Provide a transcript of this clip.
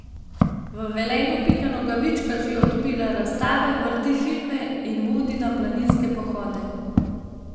V Velenju Pika Nogavička že odpira razstave, vrti filme in vodi na planinske pohode.